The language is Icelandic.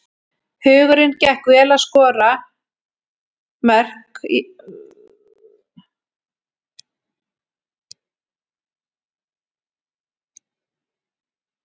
Huginn gekk vel að skora mörk í fyrra og sóknarleikur liðsins var þeirra aðalsmerki.